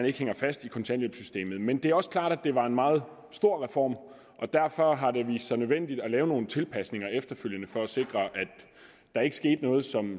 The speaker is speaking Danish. ikke hænger fast i kontanthjælpssystemet men det er også klart at det var en meget stor reform og derfor har det vist sig nødvendigt at lave nogle tilpasninger efterfølgende for at sikre at der ikke sker noget som